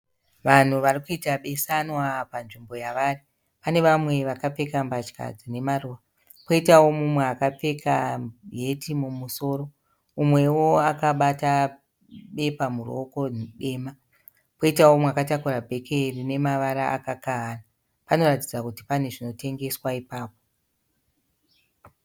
Vanhu vari kuita beswana panzvimbo yavari. Pane vamwe vakapfeka mbatya dzine maruva. Kwoitawo mumwe akapfeka heti mumusoro. Umwewo akabata bepa muruoko dema. Poitawo mumwe akatakura bheke rine mavara akakahana. Panoratidza kuti pane zvinotengeswa ipapo.